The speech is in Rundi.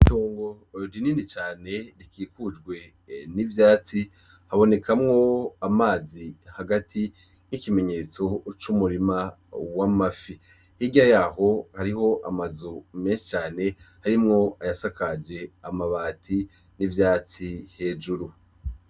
Itongo rinini cane rikikujwe n'ivyatsi habonekamwo amazi hagati nk'ikimenyetso c'umurima w’amafi, hirya yaho hariho amazu meshi cane harimwo ayasakaje amati n'ivyatsi hejuru